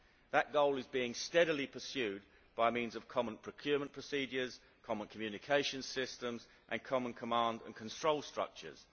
That goal is being steadily pursued by means of common procurement procedures, common communications systems and common command and control structures.